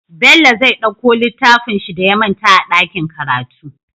Bello zai ɗauko littafinshi da ya manta a dakin karatu